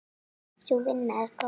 Sú vinna er góð.